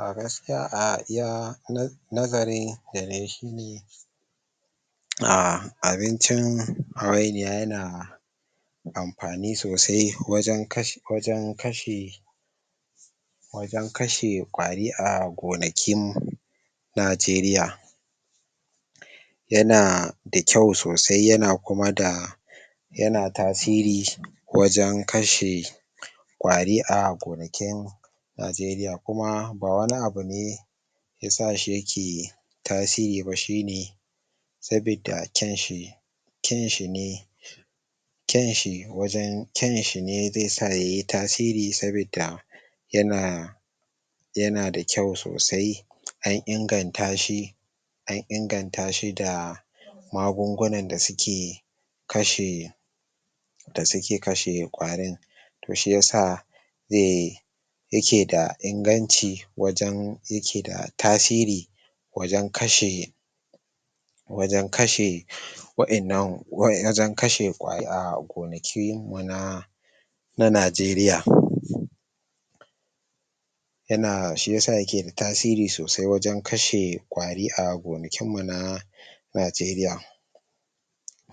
A gaskiya a iya nazarin da nayi shine, ah abincin hawainiya yana amfani sosai wajan kash wajan kashe wajan kasha ƙwari a gonakin najeriya yana da kyau sosai yana kuma da yana tasiri wajan kashe ƙwari a gonakin najeriya, kuma ba wani abu ne ke sashi yake tasiri ba shi ne sabida kyan shi kyan shi ne kyan shi wajan kyan shi ne ze sa yayi tasiri sabida yana yana da kyau sosai an ingantashi an ingantashi da magungunan da suke kashe da suke kashe ƙwarin toh shi yasa ze yake da inganci wajan yake da tasiri wajan kashe wajan kashe wa'innan wajan kashe ƙwa ah gonakin mu na na najeriya yana shi yasa yake da tasiri sosai wajan kashe ƙwari a gona kin mu na najeriya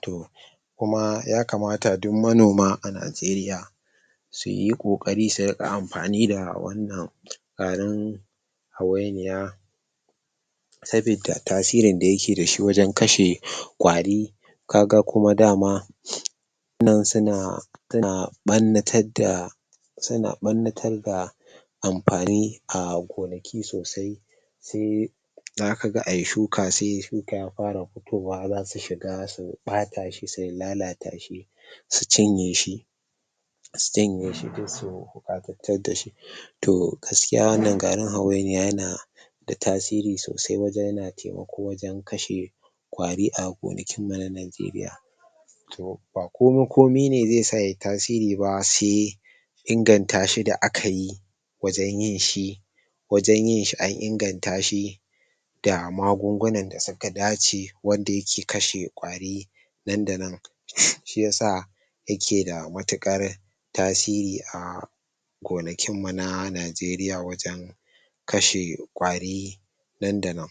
toh kuma ya kamata duk ma noma a najeriya suyi kokari su riƙa amfani da wannan garin hawainiya sabida tasirin da yake dashi wajan kashe ƙwari kaga kuma da ma nan suna ah barna tadda suna ɓarna tarda amfani a gonaki sosai se za kaga ayi shuka sai shuka ya fara hutowa zasu shiga su ɓata shi su lalata shi su cinye shi su cinye shi ko su dashi toh gaskiya wanan garin hawainiya yana da tasiri sosai wajan yana taimako wajan kashe ƙwari a gonakinmu na najeriya toh ba komin komi ne ze sa yayi tasiri ba se ingantashi da akayi wajan yin shi wajan yin shi an inganta shi da magungunan da suka dace wanda yake kashe ƙwari nan da nan shi yasa yake da matuƙar tasiri ah gonakin mu na najeriya wajan kashe ƙwari nan da nan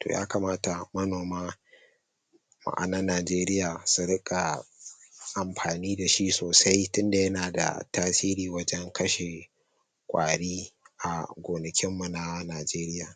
toh ya kamata manoma na najeriya su riƙa amfani da shi sosai tinda yana da tasiri wajan kashe ƙwari a gonakin mu na najeriya.